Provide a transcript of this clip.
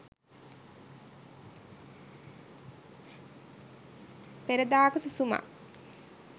peradaka susumak